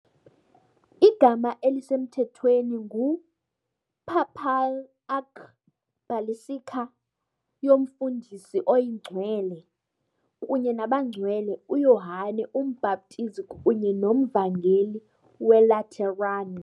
Igama elisemthethweni ngu "Papal Archbasilica yoMsindisi oyiNgcwele kunye nabaNgcwele uYohane uMbhaptizi kunye noMvangeli weLateran" .